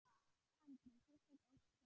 Andri: Sérstök ósk frá honum?